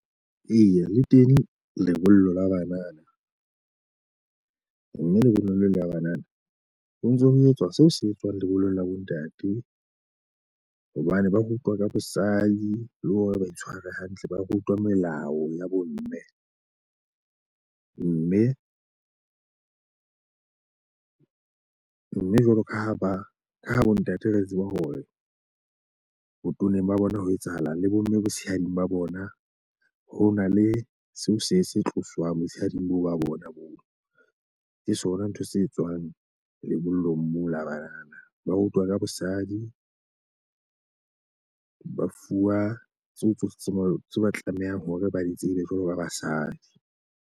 Eya, le teng lebollo la banana. Mme lebollo leo la banana ho ntso ho etswa seo se etswang lebollong la bontate. Hobane ba rutwa ka bosadi le hore ba itshware hantle, ba rutwa melao ya bomme. Mme mme jwalo ka ha ba ka ha bontate re tseba hore botoneng ba bona ho etsahalang le bomme botshehading ba bona, ho na le seo se se tloswang botshehading boo ba bona boo. Ke tsona ntho se tswang lebollong moo la banana. Ba rutwa ka bosadi, ba fuwa tseo tsohle tseo ba tlamehang hore ba di tsebe jwalo ba basadi.